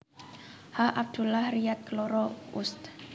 H Abdullah Riyad keloro Ust